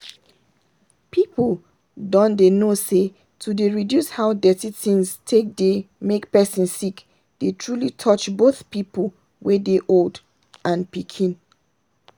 people don dey know say to dey reduce how dirty things take dey make person sick dey truly touch both people wey dey old and pikin.